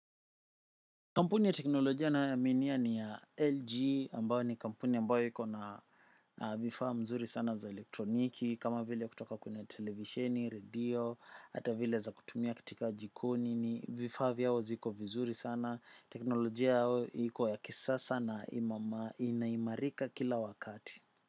Kampuni ya teknolojia nayoaminia ni ya LG, ambao ni kampuni ambayo iko na vifaa mzuri sana za elektroniki, kama vile kutoka kuna televisheni, radio, hata vile za kutumia kitika jikoni, ni vifaa vyao ziko vizuri sana. Teknolojia yao iko ya kisasa na inaimarika kila wakati.